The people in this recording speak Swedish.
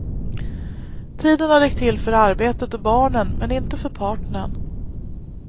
Tiden har räckt till för arbetet och barnen men inte för partnern.